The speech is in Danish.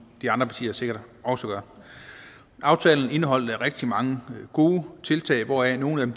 de andre partier sikkert også gør aftalen indeholdt rigtig mange gode tiltag hvoraf nogle